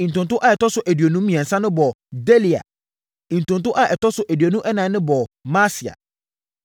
Ntonto a ɛtɔ so aduonu mmiɛnsa no bɔɔ Delaia. Ntonto a ɛtɔ so aduonu ɛnan no bɔɔ Maasia.